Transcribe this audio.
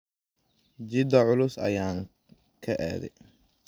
Gita culus ayan kaade.